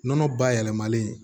Nɔnɔ bayɛlɛmalen